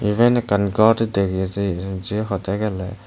eben ekkan gor degir je je hodegele.